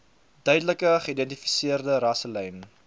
duidelik geïdentifiseerde rasselyne